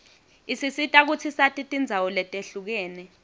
isisita kutsi sati tindzawo letihlukene